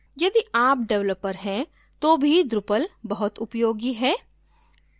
यदि आप developer हैं तो भी drupal बहुत उपयोगी है